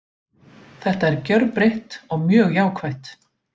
Þetta er gjörbreytt og mjög jákvætt.